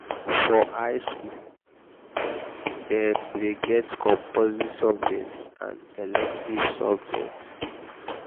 for high school dem de get compulsory subjects and elective subjects